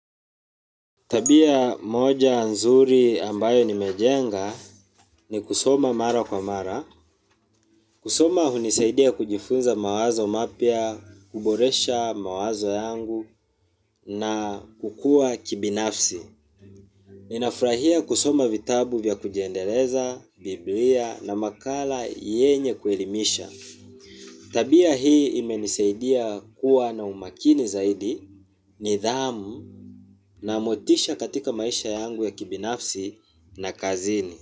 Tabia moja nzuri ambayo nimejenga ni kusoma mara kwa mara. Kusoma hunisaidia kujifunza mawazo mapya, kuboresha mawazo yangu na kukua kibinafsi. Ninafurahia kusoma vitabu vya kujiendeleza, biblia na makala yenye kuelimisha. Tabia hii imenisaidia kuwa na umakini zaidi nidhamu na motisha katika maisha yangu ya kibinafsi na kazini.